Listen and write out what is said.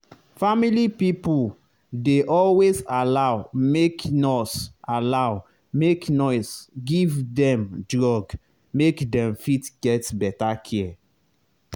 family pipo dey always allow make nurse allow make nurse give dem drug make dem fit get better care